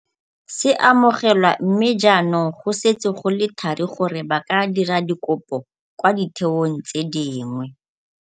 se amogelwa mme jaanong go setse go le thari gore ba ka dira dikopo kwa ditheong tse dingwe.